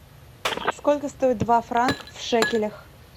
сколько стоит два франка в шекелях